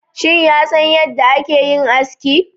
Shin ya san yadda ake yin aski